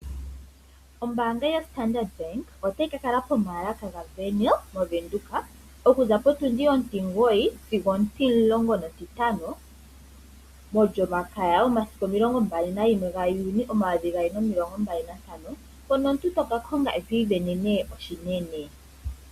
Ombaanga yo Standard Bank otayi ka kala pomaalaka ga Wernhill moVenduka okuza potundi ontimugoyi sigo ontimulongo nontintano, molyomaka yomasiku omilongo mbali na yimwe ga Juni omayovi gaali nomilongo mbali na ntano, mpono omuntu toka konga eto isindanena oshinene.